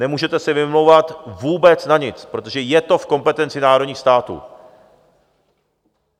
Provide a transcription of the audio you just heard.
Nemůžete se vymlouvat vůbec na nic, protože je to v kompetenci národních států.